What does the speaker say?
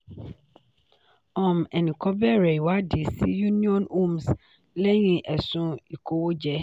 um ẹni kan bẹ̀rẹ̀ ìwádìí sí union homes lẹ́yìn ẹ̀sùn ìkówójẹ.